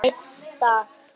Einn dag!